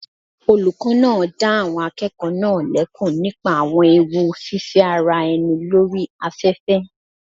Olùkọ́ náà dá àwọn akẹ́kọ̀ọ́ náà lẹ́kun nípa àwọn ewu fífẹ́ ara ẹni lórí afẹ́fẹ́.